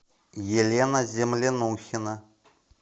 елена землянухина